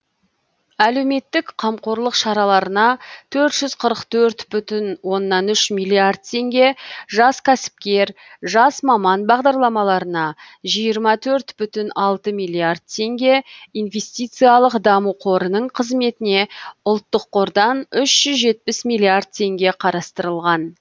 әлеуметтік қамқорлық шараларына төрт жүз қырық төрт бүтін оннан үш миллиард теңге жас кәсіпкер жас маман бағдарламаларына жиырма төрт бүтін алты миллиард теңге инвестициялық даму қорының қызметіне ұлттық қордан үш жүз жетпіс миллиард теңге қарастырылған